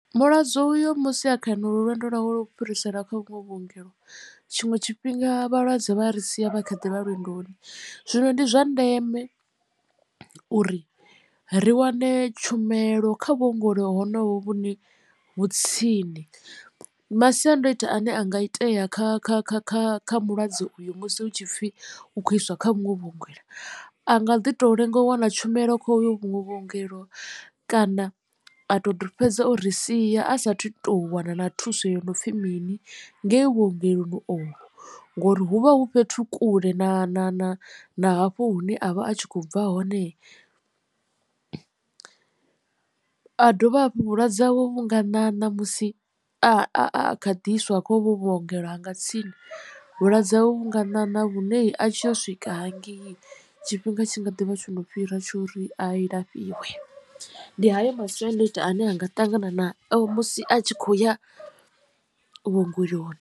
Mulwadze uyo musi a kha honolo lwendo lwawe lwa u fhiriselwa kha vhuṅwe vhuongelo tshiṅwe tshifhinga vhalwadze vha ri sia vha kha ḓi vha lwendoni zwino ndi zwa ndeme uri ri wane tshumelo kha vhuongelo honovho vhune vhu tsini. Masiandoitwa ane anga itea kha kha kha kha kha mulwadze uyu musi hu tshi pfhi u khou iswa kha vhuṅwe vhuongelo a nga ḓi to lenga u wana tshumelo kha ovho vhuṅwe vhuongelo kana a to fhedza o ri sia a sathu to wana na thuso yo no pfhi mini ngei vhuongeloni ovho. Ngori hu vha hu fhethu kule na na na na hafho hune a vha a tshi khou bva hone. A dovha hafhu vhulwadze hawe vhu nga ṋaṋa musi a kha ḓiiswa kha hovhu vhuongelo ha nga tsini vhulwadze hawe vhu nga ṋaṋa vhune a tshi yo swika hangei tshifhinga tshi nga ḓivha tshono fhira tsho ri a lafhiwe ndi hayo masiandoitwa ane a nga ṱangana nao musi a tshi khou ya vhuongeloni.